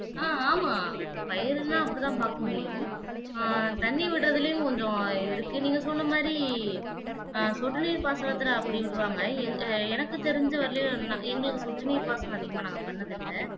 ஆஹ் ஆமா பயிரெல்லாம் அப்படித்தான் பார்க்க முடியும் ஆஹ் தண்ணீர் விட்றதெல்லயும் கொஞ்சம் ஆஹ் இருக்கு நீங்க சொன்ன மாதிரி ஆஹ் சொட்டுநீர் அப்பிடி விடுவாங்க எனக்குத் தெரிஞ்ச வரையிலும் எங்களுக்கு சொட்டுநீர் பாசனம் அதிகமாக நாங்க பண்ணினது இல்ல